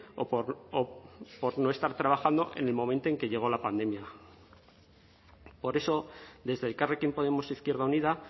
o por no estar trabajando en el momento en que llegó la pandemia por eso desde elkarrekin podemos izquierda unida